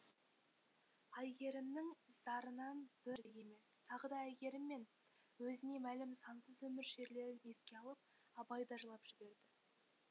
әйгерімнің зарынан бір емес тағы да әйгерім мен өзіне мәлім сансыз өмір шерлерін еске алып абай да жылап жіберді